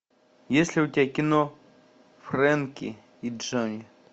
есть ли у тебя кино френки и джони